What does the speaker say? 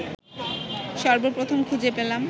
সর্বপ্রথম খুঁজে পেলাম